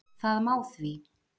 Það má því